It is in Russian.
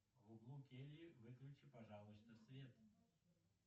в углу кельи выключи пожалуйста свет